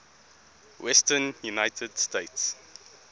western united states